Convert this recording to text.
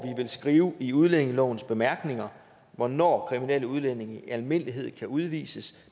vil skrive i udlændingelovens bemærkninger hvornår kriminelle udlændinge i almindelighed kan udvises